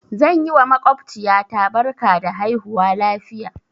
Zan yi wa maƙwabciya ta barka da haihuwa lafiya.